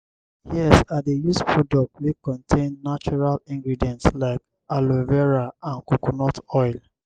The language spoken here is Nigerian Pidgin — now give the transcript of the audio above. yes i dey use products wey contain natural ingredients like aloe vera and coconut oil.